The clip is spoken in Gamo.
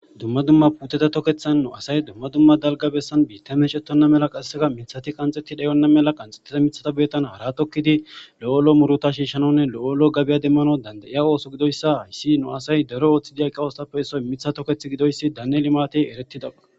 dumma dumma putete tokethan nu asay dumma dumma dalga bessan biitta meecetonna mela qasseka mithati qanxetti dhayonna mela qanxetete mithata beetan haratokkidi lo7olo muruta shiishshanonne lo7olo gabiya demmano danda7iya ooso gidoyssa hayssi nu asay daro ooththi diyaqa oostappe issoy mitha toketh gidoyssi daane limati eretida